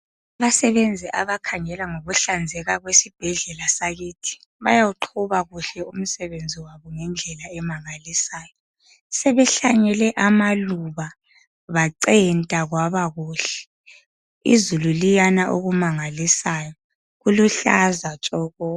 Abasebenzi abakhangela ngokuhlanzeka kwesibhedlela sakithi bayawuqhuba kuhle umsebenzi wabo ngendlela emangalisayo senehlanyele amaluba bancemta kwaba kuhle uzulu liyana okumangalisayo kuluhlaza tshoko.